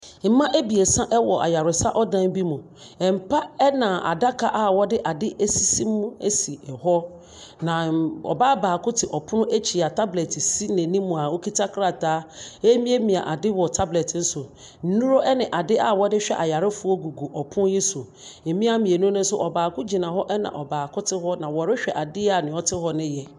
Mmea ebiesa ɛwɔ ayaresa ɔdan bi mu. Mpa ɛna adaka a ɔde ade esisi mu esi ɛhɔ. Na ɔbaa baako te ɔpono ɛkyi a tablet si ne nim a ɔkuta krataa remiamia ade wɔ tablet no so. Nnuro ɛne ade a wɔdehwɛ ayarefoɔ gugu ɔpono yi so. Mmea mmienu no nso, ɔbaako gyina hɔ na ɔbaako te hɔ na ɔrehwɛ adeɛ a nea ɔte hɔ no yɛ.